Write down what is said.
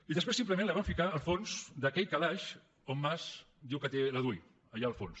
i després simplement la van ficar al fons d’aquell calaix on mas diu que té la dui allà al fons